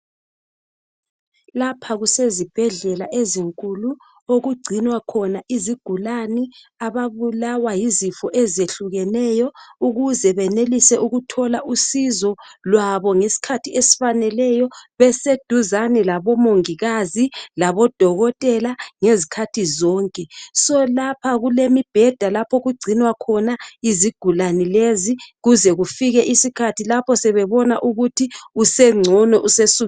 Lapha kusesibhedlela ezinkulu okugcinwa khona izigulani. Ababulawa yizifo eyehlukeneyo ukuze benelise ukuthola usizo lwabo ngesikhathi esifaneleyo beseduzane labongikazi labodokotela ngesikhathi zonke. So lapha kulemibheda lapha okugcinwa khona izigulani lezi kuzekufike isikhathi lapha sebebona ukuthi usegcono.